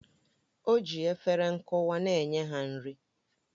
O ji efere nkwụwa na-enye ha nri